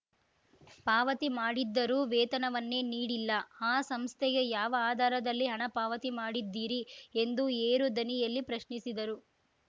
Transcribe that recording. ಪಾವತಿ ಮಾಡಿದ್ದರೂ ವೇತನವನ್ನೇ ನೀಡಿಲ್ಲ ಆ ಸಂಸ್ಥೆಗೆ ಯಾವ ಆಧಾರದಲ್ಲಿ ಹಣ ಪಾವತಿ ಮಾಡಿದ್ದೀರಿ ಎಂದು ಏರು ದನಿಯಲ್ಲಿ ಪ್ರಶ್ನಿಸಿದರು